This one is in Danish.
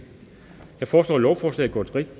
jeg foreslår at lovforslaget går